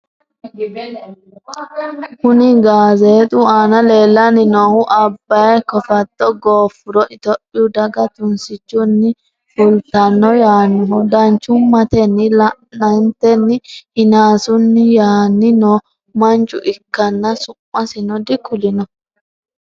kuni gaazexu aana leellanni nohu abbay kofatto gooffuro itophiyu daga tunsichunni fultanno yaannohu danchumatenni la''antenni hinaasuuni yaani noo mancho ikkanna su'masino dikullino.